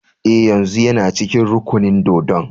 Eh, yanzun yana cikin rukunin dōdon.